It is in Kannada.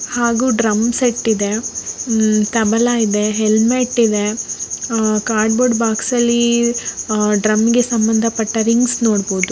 ಹಾಗೂ ಡ್ರಮ್ ಸೆಟ್ ಇದೆ ಉಮ್ಹ ತಬಲ ಇದೆ ಹೆಲ್ಮೆಟ್ ಇದೆ ಆಹ್ಹ್ ಕಾರ್ಡ್ಬೋರ್ಡ್ ಬಾಕ್ಸ್ ಅಲ್ಲಿಆಹ್ಹ್ ಡ್ರಮ್ ಗೆ ಸಂಬಂಧಪಟ್ಟ ರಿಂಗ್ಸ್ ನೋಡಬಹುದು.